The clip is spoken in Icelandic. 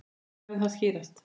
Hvenær mun það skýrast?